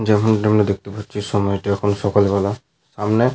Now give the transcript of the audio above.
যেমনটা আমরা দেখতে পাচ্ছি সময়টি এখন সকালবেলা। সামনে।